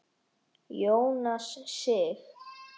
Jónas Sig.